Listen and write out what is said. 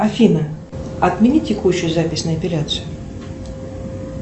афина отмени текущую запись на эпиляцию